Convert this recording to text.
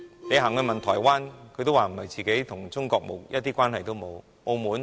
你問問台灣人，他們會說自己與中國一點關係也沒有。